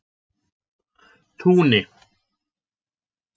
Túni